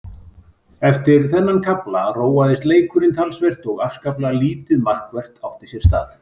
Eftir þennan kafla róaðist leikurinn talsvert og afskaplega lítið markvert átti sér stað.